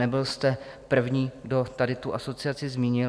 Nebyl jste první, kdo tady tu asociaci zmínil.